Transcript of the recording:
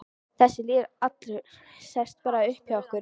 Þessi lýður allur sest bara upp hjá ykkur.